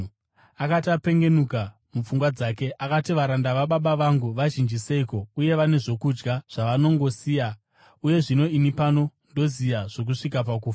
“Akati apengenuka mupfungwa dzake, akati, ‘Varanda vababa vangu vazhinji seiko uye vane zvokudya zvavanongosiya, uye zvino ini pano ndoziya zvokusvika pakufa!